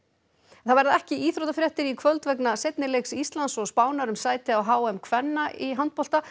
það verða ekki íþróttafréttir í kvöld vegna seinni leiks Íslands og Spánar um sæti á h m kvenna í handbolta